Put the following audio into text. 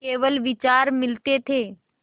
केवल विचार मिलते थे